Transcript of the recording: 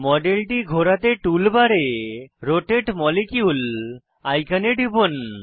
মডেলটি ঘোরাতে টুল বারে রোটাতে মলিকিউল আইকনে টিপুন